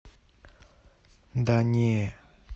да не